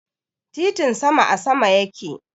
Titin sama a sama yake.